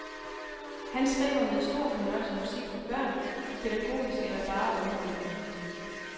Han skriver med stor fornøjelse musik for børn, pædagogisk eller bare underholdende.